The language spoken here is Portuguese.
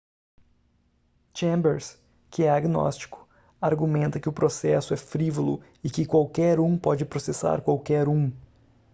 chambers que é agnóstico argumenta que o processo é frívolo e que qualquer um pode processar qualquer um